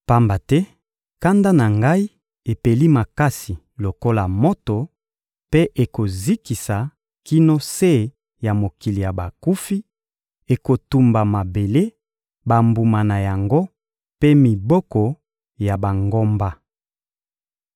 Pamba te kanda na Ngai epeli makasi lokola moto, mpe ekozikisa kino se ya mokili ya bakufi, ekotumba mabele, bambuma na yango mpe miboko ya bangomba.